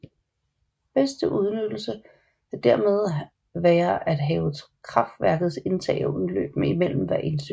Bedst udnyttelse kan dermed være at have kraftværkets indtag og udløb mellem hver indsø